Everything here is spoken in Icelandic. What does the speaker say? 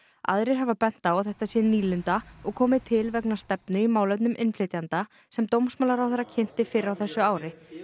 aðrir hafa bent á að þetta sé nýlunda og komið til vegna stefnu í málefnum innflytjenda sem dómsmálaráðherra kynnti fyrr á þessu ári